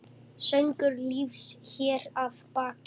Söngur lífs hér að baki.